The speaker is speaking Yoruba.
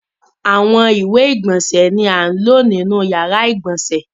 Awọn iwe igbonse ni a lo ninu yara igbonse.